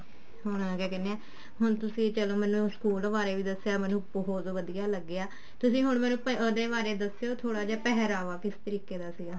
ਹੁਣ ਕਿਆ ਕਹਿਨੇ ਆ ਹੁਣ ਤੁਸੀਂ ਚਲੋ ਮੈਨੂੰ ਸਕੂਲ ਬਾਰੇ ਮੈਨੂੰ ਬਹੁਤ ਵਧੀਆ ਲੱਗਿਆ ਤੁਸੀਂ ਮੈਨੂੰ ਹੁਣ ਉਹਦੇ ਬਾਰੇ ਦੱਸਿਓ ਥੋੜਾ ਜਾ ਪਹਿਰਾਵਾ ਕਿਸ ਤਰੀਕੇ ਦਾ ਸੀਗਾ